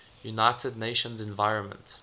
united nations environment